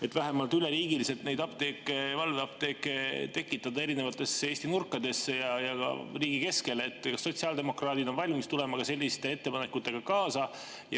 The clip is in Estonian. Et vähemalt üleriigiliselt tekitada valveapteeke erinevatesse Eesti nurkadesse ja ka riigi keskele – kas sotsiaaldemokraadid on valmis tulema ka selliste ettepanekutega kaasa?